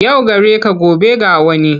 Yau gareka gobe ga wani,